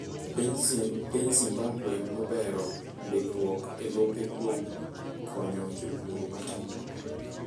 Piny Zimbabwe nobero ndikruok elope kuom konyo jopur matindo.